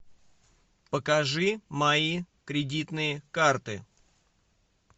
покажи мои кредитные карты